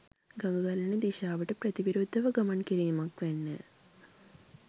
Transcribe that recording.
ගඟ ගලන දිශාවට ප්‍රතිවිරුද්ධව ගමන් කිරීමක් වැන්නය.